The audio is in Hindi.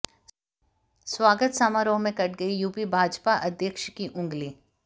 स्वागत समारोह में कट गई यूपी भाजपा अध्यक्ष की अंगुली